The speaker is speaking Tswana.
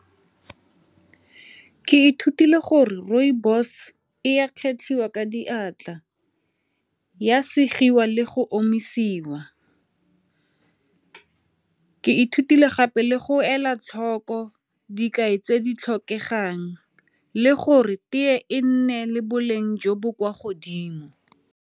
Ke ithutile gore rooibos e a kgetlhiwa ka diatla, ya segiwa le go omisiwa. Ke ithutile gape le go ela tlhoko dikai tse di tlhokegang le gore tee e nne le boleng jo bo kwa godimo.